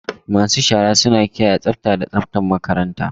Masu shara suna kiyaye tsafta da tsaftar makaranta.